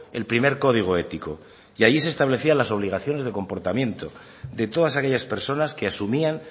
el primer código ético y ahí se establecían las obligaciones de comportamiento de todas aquellas personas que asumían